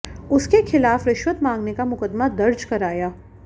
उसके खिलाफ रिश्वत मांगने का मुकदमा दर्ज कराया